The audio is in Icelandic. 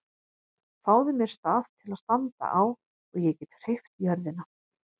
Fáðu mér stað til að standa á og ég get hreyft jörðina!